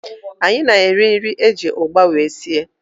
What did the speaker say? Anyị na-eri nri eji ụgba wee sie